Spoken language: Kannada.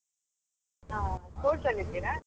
ಹಾ sports ಅಲ್ಲಿ ಇದ್ದೀರಾ?